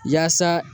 Yaasa